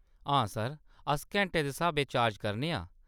हां सर, अस घैंटें दे स्हाबें चार्ज करने आं।